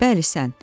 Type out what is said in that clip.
"Bəli, sən."